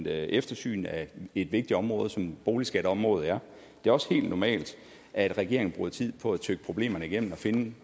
et eftersyn af et vigtigt område som boligskatområdet er det er også helt normalt at regeringen bruger tid på at tygge problemerne igennem og finde